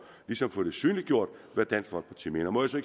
synliggjort hvad dansk folkeparti mener må jeg så